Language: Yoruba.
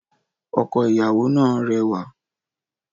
Ọkọ ìyàwó náà rẹwà